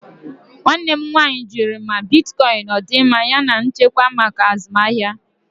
Nwanne m nwanyị jụrụ ma bitkọịn ọ dị mma yana nchekwa maka azụmahịa.